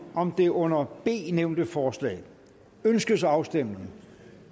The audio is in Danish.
om det under b nævnte forslag ønskes afstemning